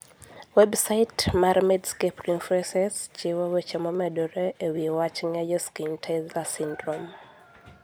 Websait mar Medscape References chiwo weche momedore e wi wach ng'eyo Schnitzler syndrome.